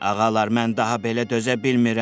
Ağalar, mən daha belə dözə bilmirəm.